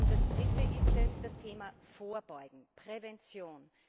Das Dritte ist das Thema Vorbeugen, Prävention.